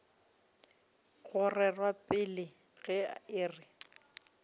go rerwa pele ge e